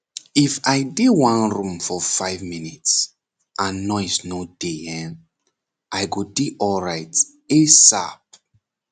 if i dey one room for five minutes and noise no dey hen i go dey alright asap